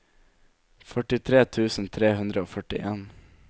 førtitre tusen tre hundre og førtien